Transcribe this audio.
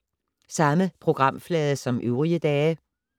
Samme programflade som øvrige dage